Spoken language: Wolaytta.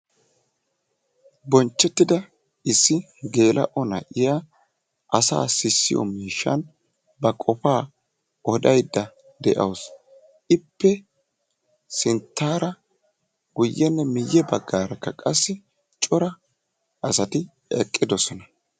Bonchchetida issi geella"o na'iya asassa sissiyo miishshan ba qoppa odaydda de'awusu. Ippe sinttaara, guyyenne miyye baggaarakka qassi cora asati eqqidoosona.